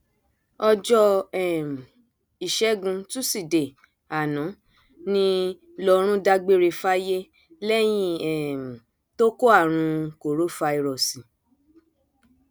ọjọ um ìṣègùn túṣìdée àná ní lọrun dágbére fáyé lẹyìn um tó kó àrùn korofairósí